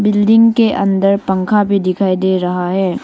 Building के अंदर पंखा भी दिखाई दे रहा है।